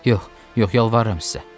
Yox, yox, yalvarıram sizə.